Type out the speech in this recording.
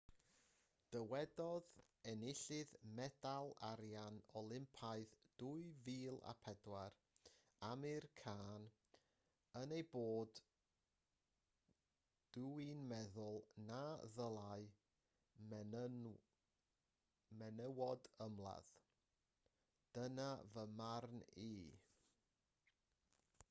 dywedodd enillydd medal arian olympaidd 2004 amir khan yn y bôn dw i'n meddwl na ddylai menywod ymladd dyna fy marn i